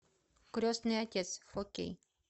крестный отец фо кей